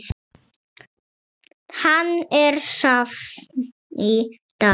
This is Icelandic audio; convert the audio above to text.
Hann er safn í dag.